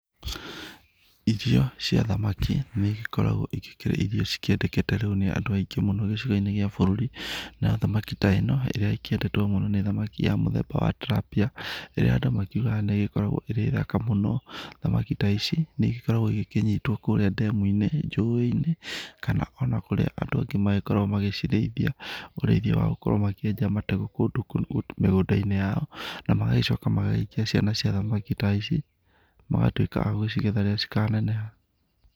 Ithio cia thamaki nĩ igĩkoragwo igĩkĩrĩithio ci kĩendekete nĩ andũ aingĩ mũno gĩcigo-inĩ kĩa bũrũri, na thamaki ta ĩno ĩrĩa ĩkĩendetwo mũno nĩ thamaki ya mũthemba wa tilapia, ĩrĩa andũ makiugaga nĩ ĩgĩkoragwo ĩ thaka mũno. Thamaki ta ici nĩ igĩkoragwo igĩkĩnyitwo kũrĩa ndemu-inĩ, njũĩ-inĩ kana ona kũrĩa andũ angĩ magĩkoragwo magĩcirĩithia. Urĩithia wagũkorwo makĩenja matagu kũndũ mĩgũnda-inĩ yao, na magagĩcoka magagĩikia ciana cia thamaki ta ici magatuĩka agũcigetha rĩrĩa cika neneha.